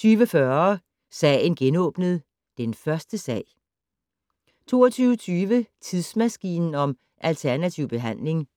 20:40: Sagen genåbnet: Den første sag 22:20: Tidsmaskinen om alternativ behandling